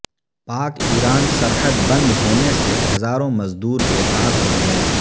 پاک ایران سرحد بند ہونے سے ہزاروں مزدور بیکار ہو گئے